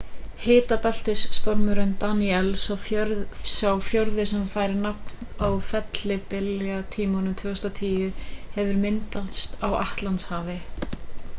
hitabeltisstormurinn danielle sá fjórði sem fær nafn á fellibyljatímabilinu 2010 hefur myndast á atlantshafi